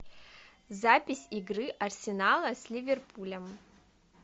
запись игры арсенала с ливерпулем